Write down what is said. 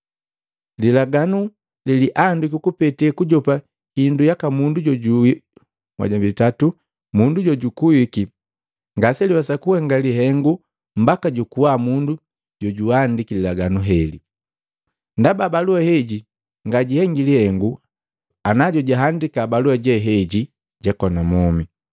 Lilaganu leliandikwi kupete kujopa hindu yaka mundu jojukuwiki ngaseliwesa kuhenga lihengu mbaka jukuwa mundu jojuandiki lilaganu heli, ndaba balua heji ngajihengi lihengu ana jojuhandika balua je heji jakona mwomi.